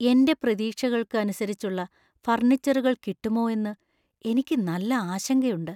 എന്‍റെ പ്രതീക്ഷകൾക്ക് അനുസരിച്ചുള്ള ഫർണിച്ചറുകൾ കിട്ടുമോ എന്ന് എനിക്ക് നല്ല ആശങ്കയുണ്ട്.